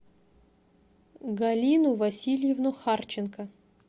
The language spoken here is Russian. галину васильевну харченко